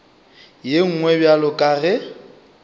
ye nngwe bjalo ka ge